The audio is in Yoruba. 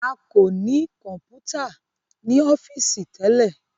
a ko ní Kọ̀ǹpútà ní ọ́fíìsì tẹlẹ